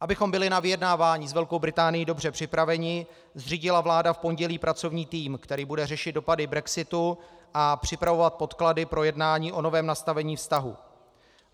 Abychom byli na vyjednávání s Velkou Británií dobře připraveni, zřídila vláda v pondělí pracovní tým, který bude řešit dopady brexitu a připravovat podklady pro jednání o novém nastavení vztahů.